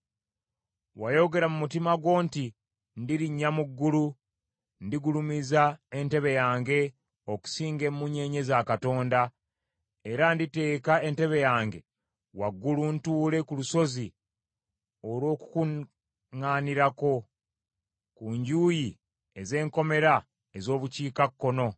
Wayogera mu mutima gwo nti, “Ndirinnya mu ggulu, ndigulumiza entebe yange okusinga emunyeenye za Katonda; era nditeeka entebe yange waggulu ntuule ku lusozi olw’okukuŋŋaanirako ku njuyi ez’enkomerero ez’obukiikakkono;